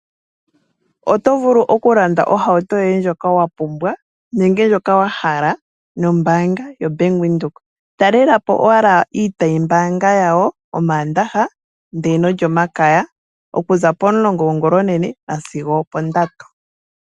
Oto vulu okulanda ohauto yoye ndjoka wa pumbwa nenge ndjoka wa hala nombaanga yoBank Windhoek. Talela po owala iitayimbaanga yawo mOmaandaha nOlyomakaya okuza pomulongo gongulonene nasigo opondatu komatango.